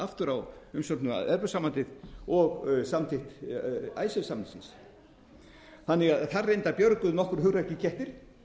aftur á umsögnina um evrópusambandið og samþykkt icesave samningsins þannig að þar reyndar björguðu nokkrir hugrakkir kettir